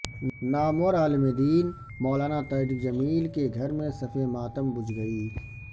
نامور عالم دین مولانا طارق جمیل کے گھر میں صف ماتم بچھ گئی